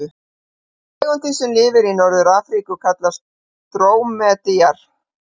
Tegundin sem lifir í Norður-Afríku kallast drómedari.